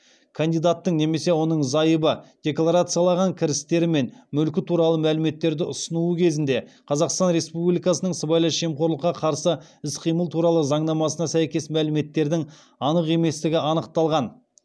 кандидаттың немесе оның зайыбы декларациялаған кірістері мен мүлкі туралы мәліметтерді ұсынуы кезінде қазақстан республикасының сыбайлас жемқорлыққа қарсы іс қимыл туралы заңнамасына сәйкес мәліметтердің анық еместігі анықталған